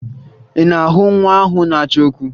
Ị na-ahụ nwa ahụ na-achọ okwu?